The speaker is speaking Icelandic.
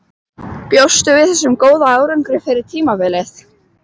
Bjóstu við þessum góða árangri fyrir tímabilið?